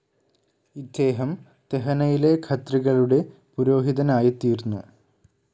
ഇദ്ദേഹം തെഹനയിലെ ഖത്രികളുടെ പുരോഹിതനായിത്തീർന്നു.